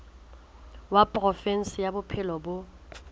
wa provinse ya bophelo bo